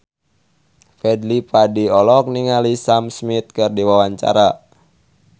Fadly Padi olohok ningali Sam Smith keur diwawancara